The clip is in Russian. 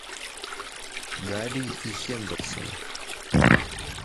гарри и хендерсоны